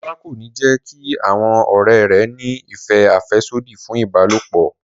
Ọlá kò ní jẹ́ kí àwọn ọ̀rẹ́ rẹ̀ ní ìfẹ́ àfẹ́sódì fún ìbálòpọ̀